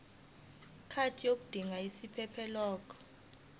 card yodinga isiphephelok